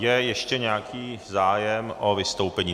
Je ještě nějaký zájem o vystoupení?